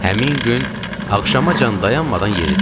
Həmin gün axşamacan dayanmadan yeridik.